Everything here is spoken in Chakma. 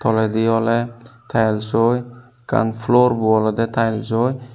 toledi oley taelsoi ekkan floor bo olodey taelsoi.